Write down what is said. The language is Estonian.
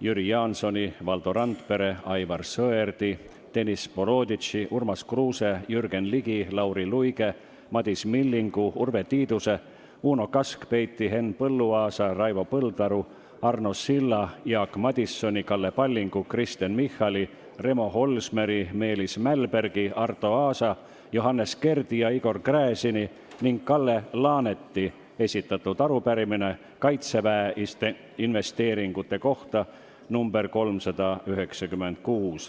Jüri Jaansoni, Valdo Randpere, Aivar Sõerdi, Deniss Boroditši, Urmas Kruuse, Jürgen Ligi, Lauri Luige, Madis Millingu, Urve Tiiduse, Uno Kaskpeiti, Henn Põlluaasa, Raivo Põldaru, Arno Silla, Jaak Madisoni, Kalle Pallingu, Kristen Michali, Remo Holsmeri, Meelis Mälbergi, Arto Aasa, Johannes Kerdi ja Igor Gräzini ning Kalle Laaneti esitatud arupärimine kaitseinvesteeringute kohta .